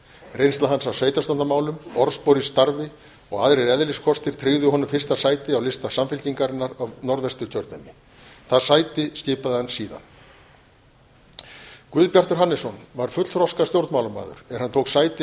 reynsla hans af sveitarstjórnarmálum orðspor í starfi og aðrir eðliskostir tryggðu honum fyrsta sæti á lista samfylkingarinnar í norðvesturkjördæmi það sæti skipaði hann síðan guðbjartur hannesson var fullþroska stjórnmálamaður er hann tók sæti